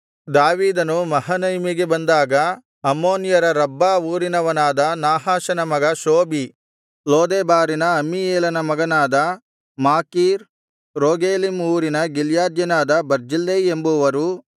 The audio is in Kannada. ದಾವೀದನು ಮಹನಯಿಮಿಗೆ ಬಂದಾಗ ಅಮ್ಮೋನಿಯರ ರಬ್ಬಾ ಊರಿನವನಾದ ನಾಹಾಷನ ಮಗ ಶೋಬಿ ಲೋದೆಬಾರಿನ ಅಮ್ಮೀಯೇಲನ ಮಗನಾದ ಮಾಕೀರ್ ರೋಗೆಲೀಮ್ ಊರಿನ ಗಿಲ್ಯಾದ್ಯನಾದ ಬರ್ಜಿಲ್ಲೈ ಎಂಬುವರು